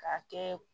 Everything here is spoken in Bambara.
K'a kɛ